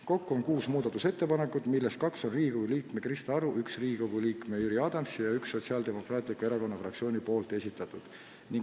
Kokku on kuus muudatusettepanekut, millest kaks on Riigikogu liikme Krista Aru, üks Riigikogu liikme Jüri Adamsi ja üks Sotsiaaldemokraatliku Erakonna fraktsiooni esitatud.